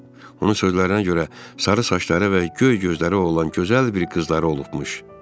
Onun sözlərinə görə sarı saçları ilə və göy gözləri olan gözəl bir qızları olubmuş.